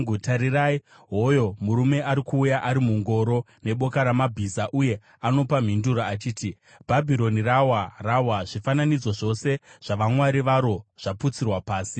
Tarirai, hoyo murume ari kuuya ari mungoro neboka ramabhiza. Uye anopa mhinduro achiti, ‘Bhabhironi rawa, rawa! Zvifananidzo zvose zvavamwari varo zvaputsirwa pasi!’ ”